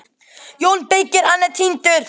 JÓN BEYKIR: Hann er týndur!